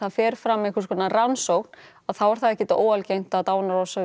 fer fram einhverskonar rannsókn þá er það ekkert óalgengt að